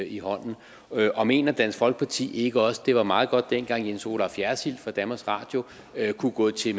i hånden mener dansk folkeparti ikke også det var meget godt dengang jens olaf jersild fra danmarks radio kunne gå til